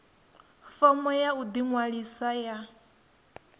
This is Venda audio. fomo ya u ḓiṅwalisa ya